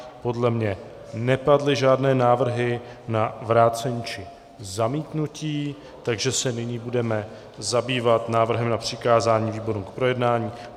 Podle mě nepadly žádné návrhy na vrácení či zamítnutí, takže se nyní budeme zabývat návrhem na přikázání výborům k projednání.